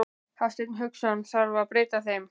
Hafsteinn Hauksson: Þarf að breyta þeim?